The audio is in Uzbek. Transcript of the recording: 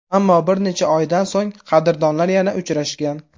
Ammo bir necha oydan so‘ng qadrdonlar yana uchrashgan.